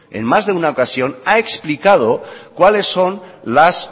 en más de una ocasión ha explicado cuáles son